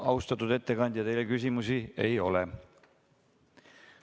Austatud ettekandja, teile küsimusi ei ole.